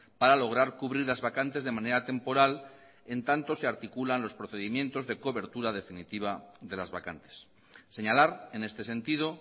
para lograr cubrir las vacantes de manera temporal en tanto se articulan los procedimientos de cobertura definitiva de las vacantes señalar en este sentido